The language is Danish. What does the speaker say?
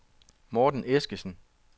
Morten Eskesen